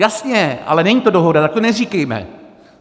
Jasně, ale není to dohoda, tak to neříkejme.